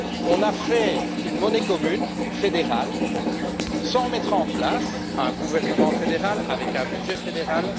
On a fait une monnaie commune fédérale sans mettre en place un gouvernement fédéral, doté d'un budget fédéral.